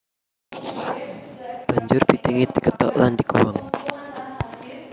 Banjur bitingé dikethok lan diguwang